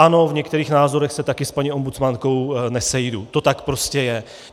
Ano, v některých názorech se taky s paní ombudsmankou nesejdu, to tak prostě je.